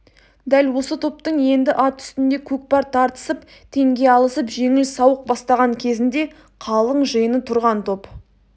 дәл осы топтың енді ат үстінде көкпар тартысып теңге алысып жеңіл сауық бастаған кезінде қалың жиыны тұрған топ